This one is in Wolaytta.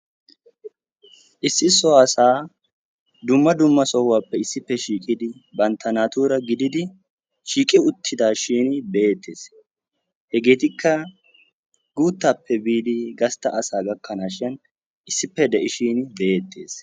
issi so asaa dumma dumma sohaappe issippe shiiqidi bantta naatuura gididi shiiqi uttidaashin be'eettes hegeetikka guuttape doommidi gastta asaa gakkanaashin issippe de'ishin be'eettes.